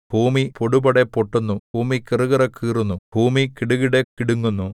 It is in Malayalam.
ഭൂമി പൊടുപൊടെ പൊട്ടുന്നു ഭൂമി കിറുകിറെ കീറുന്നു ഭൂമി കിടുകിട കിടുങ്ങുന്നു